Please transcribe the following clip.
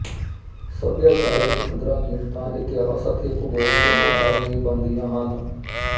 ਸਭਿਆਚਾਰ ਵਿੱਚ ਕਦਰਾਂ ਕੀਮਤਾਂ ਇਤਿਹਾਸ ਤੇ ਭੂਗੋਲ ਦੋਨੋਂ ਕਾਰਨ ਹੀ ਬਣਦੀਆਂ ਹਨ